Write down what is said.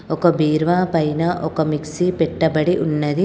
ఒక బీరువా పైన ఒక మిక్సీ పెట్టబడి ఉన్నది.